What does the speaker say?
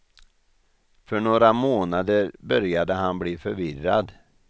För några månader började han bli förvirrad.